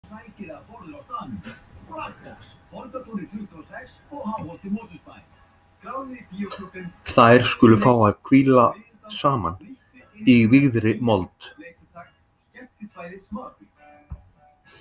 Þær skulu fá að hvíla saman í vígðri mold.